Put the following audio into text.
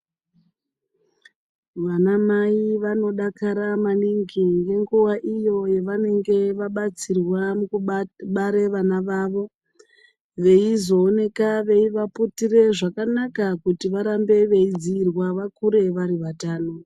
Vanamai vanodakara maningi ngenguva iyo yavanenge vabatsirwa mukubare vana vavo. Veizooneka veivaputire zvakanaka kuti varambe veidziirwa vakure vari vatano.